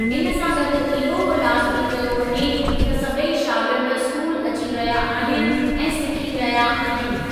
इन सां गॾु इहो बि लाज़मी कयो वञे त सभई शागिर्द स्कूल अची रहिया आहिनि ऐं सिखी रहिया आहिनि।